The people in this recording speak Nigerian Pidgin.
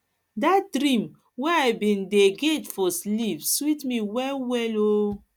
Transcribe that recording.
dat dream wey i bin dey get for sleep sweet me wellwell o